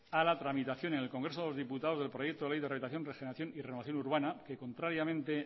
a la tramitación en el congreso de los diputados del proyecto de ley rehabilitación regeneración y renovación urbana que contrariamente